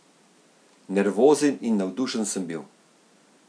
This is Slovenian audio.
Nervozen in navdušen sem bil.